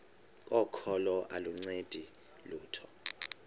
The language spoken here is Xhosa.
kokholo aluncedi lutho